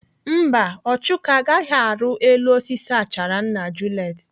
Mba, Ọchụko agaghị arụ elu osisi achara nna Juliet.